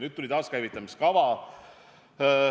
Nüüd tuli taaskäivitamiskava.